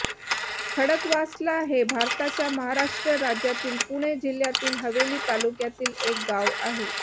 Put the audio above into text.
खडकवासला हे भारताच्या महाराष्ट्र राज्यातील पुणे जिल्ह्यातील हवेली तालुक्यातील एक गाव आहे